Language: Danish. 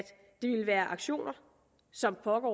det ville være aktioner som foregår